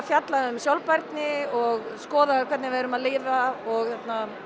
fjalla um sjálfbærni og skoða hvernig við erum að lifa og